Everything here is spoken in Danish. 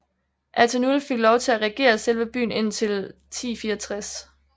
Atenulf fik lov til at regere selve byen indtil 1064